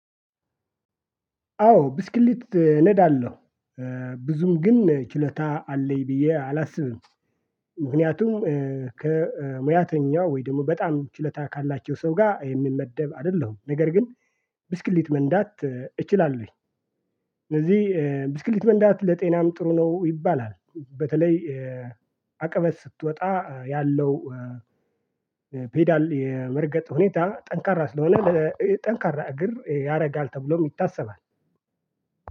አዎ ብስክሌት ነዳለሁ ብዙም ግን ችሎታ አለኝ ብዬ አላስብም። ምክንያቱም ከሙያተኛው ወይ ደግሞ በጣም ችሎታ ካላቸው ሰው ጋር የምመደብ አይደለሁም ነገር ግን ብስክሊት መንዳት እችላለሁኝ። እነዚህ ብስክሊት መንዳት ለጤናም ጥሩ ነው ይባላል። በተለይ አቅመስ ስትወጣ ያለው ፔዳል የመርገጥ ሁኔታ ጠንካራ ስለሆነ ጠንካራ እግር ያደርጋል ተብሎ ይታሰባል።